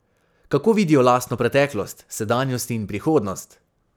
Kako vidijo lastno preteklost, sedanjost in prihodnost?